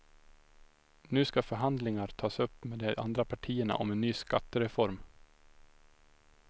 Nu ska förhandlingar tas upp med de andra partierna om en ny skattereform.